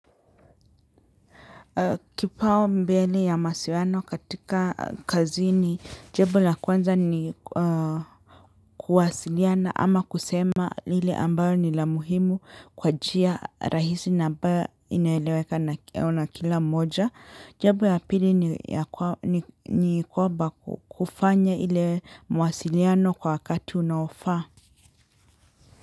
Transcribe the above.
Kipau mbele ya masiwano katika kazi ni jambo la kwanza ni kuwasiliana ama kusema lile ambalo ni la muhimu kwa njia rahisi na ba inaeleweka na kila moja. Jambo ya pili ni kwamba kufanya ile mawasiliano kwa wakati unaofaa.